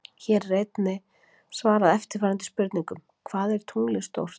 Hér er einnig svarað eftirfarandi spurningum: Hvað er tunglið stórt?